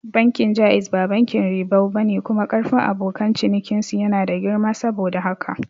Bankin Jaiz ba bankin ribau bane kuma karfin abokan cinikin su yana da girma saboda haka